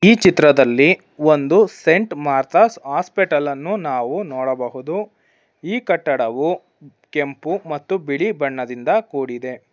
ಈ ಚಿತ್ರದಲ್ಲಿ ಒಂದು ಸೇಂಟ್ ಮಾರ್ತಾಸ್ ಹಾಸ್ಪಿಟಲ್ ಅನ್ನು ನಾವು ನೋಡಬಹುದು ಈ ಕಟ್ಟಡವು ಕೆಂಪು ಮತ್ತು ಬಿಳಿ ಬಣ್ಣದಿಂದ ಕೂಡಿದೆ.